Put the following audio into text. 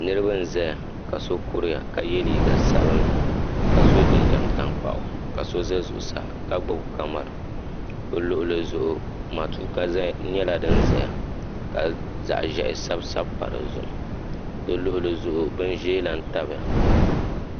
niriba n-zaya ka so kuriya ka ye liiga sabinli ka sɔ jinjam taŋkpaɣu ka so za zuɣusaa ka gbubi kamara bɛ luɣili zuɣu matuuka nyɛla din zaya ka zaɣ' ʒehi sabi sabi pa di zuɣu di luɣili zuɣu bin ʒee lahi tabi ya.